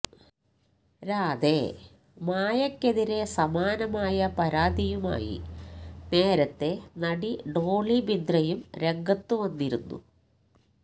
രാധേ മായ്ക്കെതിരെ സമാനമായ പരാതിയുമായി നേരത്തെ നടി ഡോളി ബിന്ദ്രയും രംഗത്ത് വന്നിരുന്നു